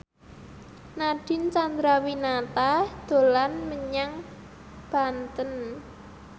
Nadine Chandrawinata dolan menyang Banten